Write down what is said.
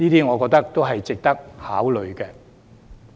我覺得這些都是值得考慮的。